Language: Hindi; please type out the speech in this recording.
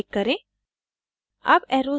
ok पर click करें